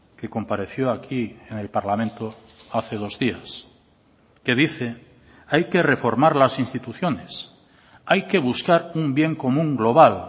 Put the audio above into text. que compareció aquí en el parlamento hace dos días que dice hay que reformar las instituciones hay que buscar un bien común global